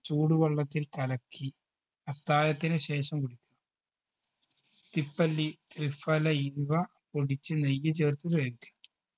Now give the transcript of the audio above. ചൂടുവെള്ളത്തിൽ കലക്കി അത്തായത്തിന് ശേഷം കുടിക്കുക തിപ്പല്ലി ത്രിഫല ഇവ പൊടിച്ച് നെയ്യ് ചേർത്ത് കഴിക്കുക